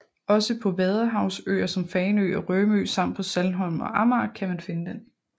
Også på vadehavsøer som Fanø og Rømø samt på Saltholm og Amager kan man finde den